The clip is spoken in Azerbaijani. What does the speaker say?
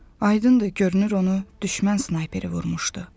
Aydındır, görünür onu düşmən snayperi vurmuşdu.